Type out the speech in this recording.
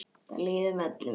Þar líður öllum vel.